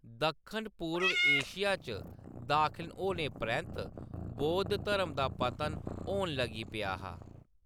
दक्खन पूर्व एशिया च दाखल होने परैंत्त बौद्ध धर्म दा पतन होन लगी पेआ हा।